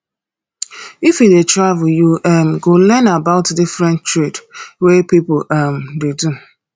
if you dey travel you um go learn about different trade wey pipo um dey do